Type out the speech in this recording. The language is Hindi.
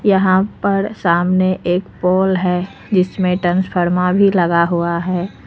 यहां पर सामने एक पोल है जिसमें तसफर्मा भी लगा हुआ है।